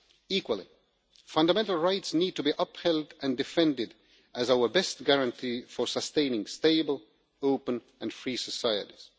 Equally, fundamental rights need to be upheld and defended as our best guarantee for sustaining stable, open and free societies.